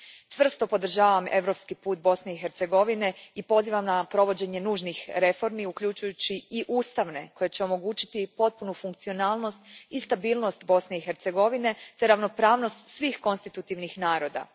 Čvrsto podržavam europski put Bosne i Hercegovine i pozivam na provođenje nužnih reformi, uključujući i ustavne, koje će omogućiti potpunu funkcionalnost i stabilnost Bosne i Hercegovine te ravnopravnost svih konstitutivnih naroda.